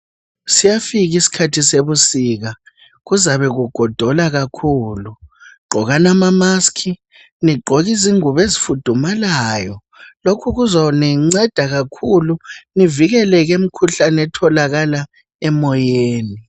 Siyafika isikhathi sebusika kuzabe kugodola kakhulu gqokani amamask ligqoke izingubo ezifudumalayo lokhu kuzolinceda kakhulu livikele emkhuhlaneni etholakala emoyeni